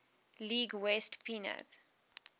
league west pennant